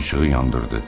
İşığı yandırdı.